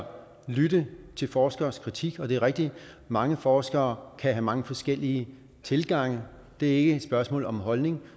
lytte til forskeres kritik og det er rigtigt at mange forskere kan have mange forskellige tilgange det er ikke et spørgsmål om holdning